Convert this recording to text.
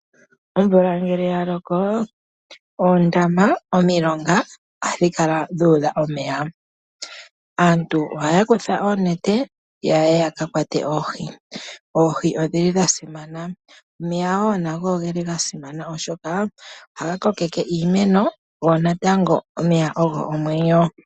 Omvula ngele ya loko oondama nomilonga oha dhi kala dhuudha omeya. Aantu ohaya kutha oonete yaye yaka kwate oohi. Oohi odhili dha simana, omeya wo nago oge li ga simana oshoka oha ga kokeke iimeno go natango omeya ogo omwenyo.